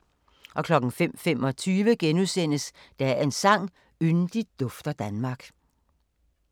05:25: Dagens sang: Yndigt dufter Danmark *